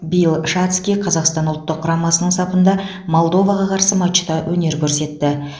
биыл шацкий қазақстан ұлттық құрамасының сапында молдоваға қарсы матчта өнер көрсетті